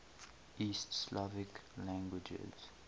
east slavic languages